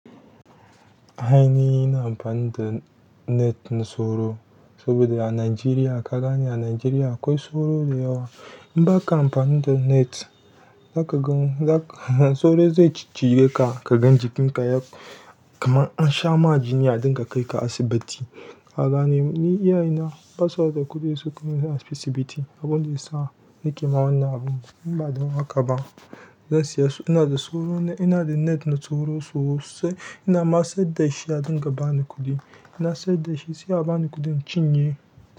A ina ina amfani da net na soro, saboda a Najeriya ka gane a Najeriya akwai soro da yawa. In baka amfani da net, zaka ga sauro zai ciccije ka kaga jinka kamar an shama jini a dinga kaika asibiti a gane, ni iyaye na ba sa ba da kuɗi yau sukai ni asibiti. Abun da ya sa nake ma wannan abun, in ba dan haka ba, zan siya, ina da sauro, ina da net na sauro sosai. Ina ma sa dashi a dinga bani kuɗi. In na saya dashi sai a ba ni kuɗin in cinye.